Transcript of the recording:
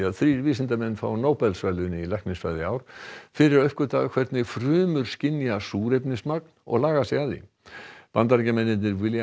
þrír vísindamenn fá Nóbelsverðlaun í læknisfræði í ár fyrir að uppgötva hvernig frumur skynja súrefnismagn og laga sig að því Bandaríkjamennirnir William